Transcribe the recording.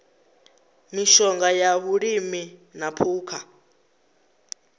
mishonga ya vhulimi na phukha